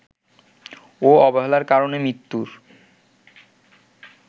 ও অবহেলার কারণে মৃত্যুর